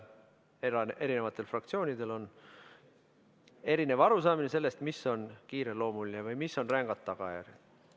Erinevatel fraktsioonidel on erinev arusaamine sellest, mis on kiireloomuline või mis on rängad tagajärjed.